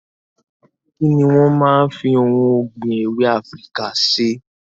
Kini wọn máa ń fi ohun ọ̀gbìn èwe Afíríkà ṣe?